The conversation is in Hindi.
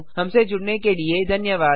हमसे जुड़ने के लिए धन्यवाद